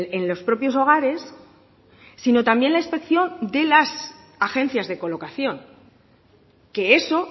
en los propios hogares sino también la inspección de las agencias de colocación que eso